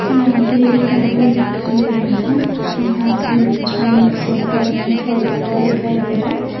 यहां पे एक गार्डन दिखाई दे रहा है। जहां पे बीच में एक सर्कल में फवारा दिखाई दे रहा है।